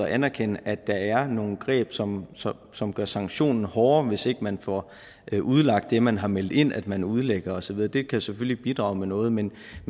anerkende at der er nogle greb som som gør sanktionen hårdere hvis ikke man får udlagt det man har meldt ind at man udlægger og så videre det kan selvfølgelig bidrage med noget men